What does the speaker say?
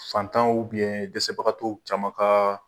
Fatanw dɛsɛbagatɔw caman ka